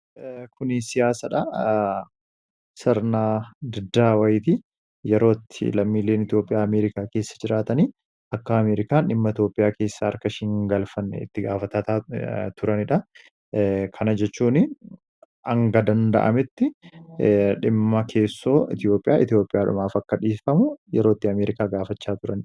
Kun siyaasdha. Sirna diddaa wayyiitii, yeroo itti lammiileen Itoophiyaa Ameerikaa keessa jiraatan akka Ameeerikaan dhimma Itoophiyaa keessa harka ishee hin galfanne itti gaafataa turanidha. Kana jechuun hanga danda'ametti dhimma keessoo Itoophiyaa, itoophiyaadhumaaf akka dhiifamu yeroo itti Ameerikaa gaafachaa turanidha.